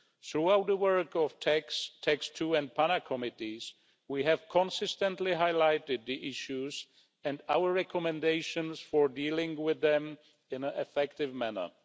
Throughout the work of the TAXE 2 and PANA Committees, we have consistently highlighted the issues and our recommendations for dealing with them in an effective manner.